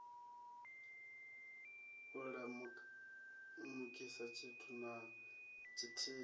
u lamukisa tshithu na tshithihi